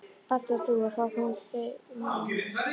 Baddi og Dúa, hvað koma þau málinu við?